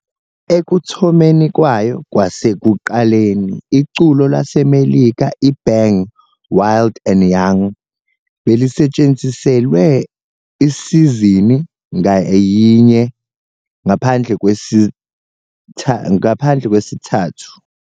Ekuthomeni kwayo kwasekuqaleni, iculo laseMelika i-Bang "Wild and Young" belisetshenziselwe isizini ngayinye ngaphandle kwesithathu.